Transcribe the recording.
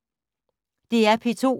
DR P2